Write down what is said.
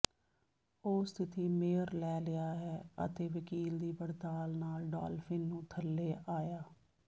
ਉਹ ਸਥਿਤੀ ਮੇਅਰ ਲੈ ਲਿਆ ਹੈ ਅਤੇ ਵਕੀਲ ਦੀ ਪੜਤਾਲ ਨਾਲ ਡਾਲਫਿਨ ਨੂੰ ਥੱਲੇ ਆਇਆ